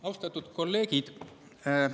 Austatud kolleegid!